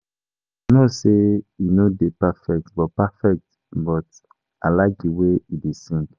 I no say he no dey perfect but perfect but I like the way he dey sing